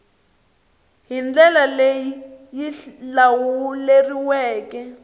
hi ndlela leyi yi lawuleriweke